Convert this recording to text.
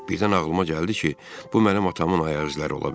Birdən ağlıma gəldi ki, bu mənim atamın ayaq izləri ola bilər.